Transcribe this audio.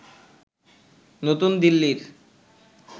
নতুন দিল্লির